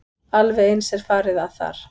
Alveg eins er farið að þar.